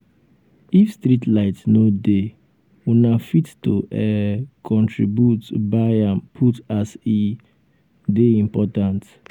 if streetlight no um dey una fit to um contribute buy am put as e dey important. um